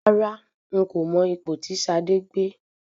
Rárá, n kò mọ ipò tí Ṣadé gbé.